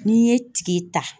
N'i ye ta.